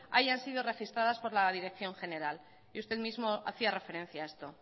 hayan sido registradas por la dirección general y usted mismo hacía referencia a esto